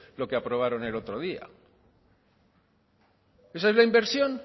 lo que aprobaron el otro día eso es la inversión